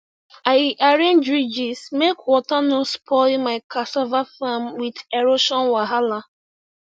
i arrange ridges make water no spoil my cassava farm with erosion wahala